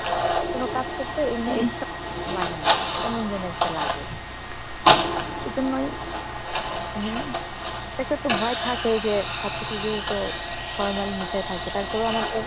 কোনো কাজ করতে উৎসাহ ing লাগে না। কেমন জানি একটা লাগে এজন্যই হ্যাঁ এটা তো ভয় থেকেই যে সবকিছু যেহেতু formalin মিশায় থাকে তারপরো আমাদের